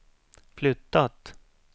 flyttat